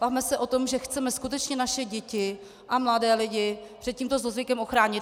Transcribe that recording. Bavme se o tom, že chceme skutečně naše děti a mladé lidi před tímto zlozvykem ochránit.